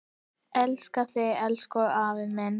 Elska þig, elsku afi minn.